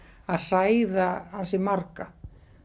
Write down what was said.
að hræða ansi marga